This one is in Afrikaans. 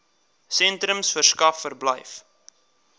sentrums verskaf verblyf